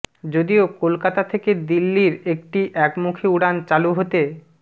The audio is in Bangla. যদিও কলকাতা থেকে দিল্লির একটি একমুখী উড়ান চালু হতে